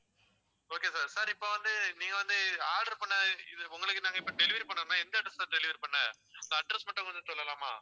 okay sir sir இப்ப வந்து நீங்க வந்து order பண்ண இது உங்களுக்கு நாங்க இப்ப delivery பண்ணணும்ன்னா எந்த address ல delivery பண்ண உங்க address மட்டும் கொஞ்சம் சொல்லலாமா